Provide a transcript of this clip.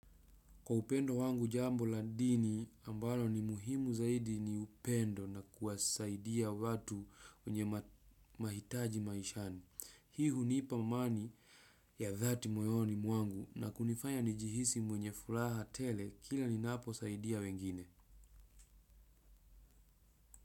Kwa upendo wangu jambo la dini ambalo ni muhimu zaidi ni upendo na kuwasaidia watu wenye mahitaji maishani. Hii hunipa amani ya dhati moyoni mwangu na kunifanya nijihisi mwenye furaha tele kila ninapo saidia wengine.